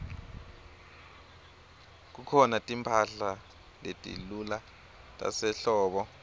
kukhona timphahla letilula tasehlobo